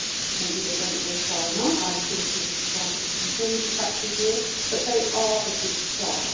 Maybe they do not go far enough I am thinking, for example, of conformity factors here but they are a good start.